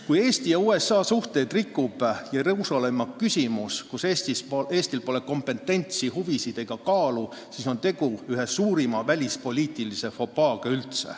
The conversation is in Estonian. Kui Eesti ja USA suhteid rikub Jeruusalemma küsimus, kus Eestil pole kompetentsi, huvisid ega kaalu, siis on tegu ühe suurima välispoliitilise fopaaga.